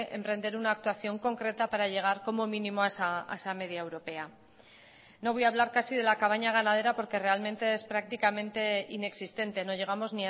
emprender una actuación concreta para llegar como mínimo a esa media europea no voy a hablar casi de la cabaña ganadera porque realmente es prácticamente inexistente no llegamos